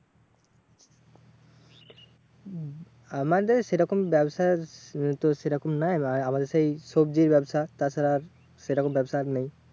হম আমাদের সেরকম ব্যাবসার উম তোর সেরকম নয়, মানে আমাদের সেই সবজির ব্যবসা তাছাড়া আর সেরকম ব্যবসা আর নেই।